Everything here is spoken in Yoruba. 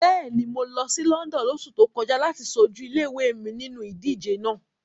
Bẹ́ẹ̀ni, mo lọ sí London lóṣù tó kọjá láti ṣojú ilé-ìwé mi nínu ìdíje náà.